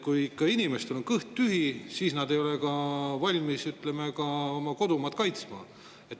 Kui inimestel on kõht tühi, siis nad ei ole ka valmis oma kodumaad kaitsma.